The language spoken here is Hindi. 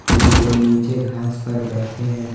ये लोग नीचे घांस पर बैठे हैं।